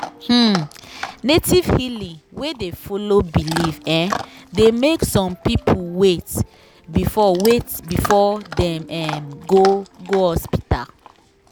um native healing wey dey follow belief um dey make some people wait before wait before dem um go go hospital.